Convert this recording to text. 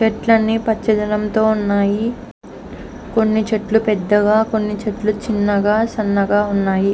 చెట్లన్నీ పచ్చదనంతో ఉన్నాయి కొన్ని చెట్లు పెద్దగా కొన్ని చెట్లు చిన్నగా సన్నగా ఉన్నాయి.